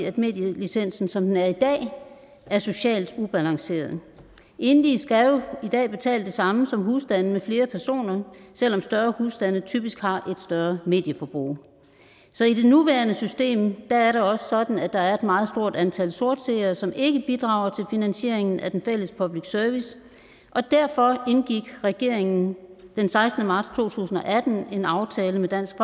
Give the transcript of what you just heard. at medielicensen som den er i dag er socialt ubalanceret enlige skal jo i dag betale det samme som husstande med flere personer selv om større husstande typisk har større medieforbrug så i det nuværende system er det også sådan at der er et meget stort antal sortseere som ikke bidrager til finansieringen af den fælles public service og derfor indgik regeringen den sekstende marts to tusind og atten en aftale med dansk